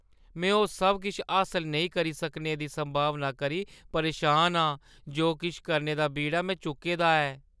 में ओह् सब किश हासल नेईं करी सकने दी संभावना करी परेशान आं जो किश करने दा बीड़ा में चुक्के दा ऐ।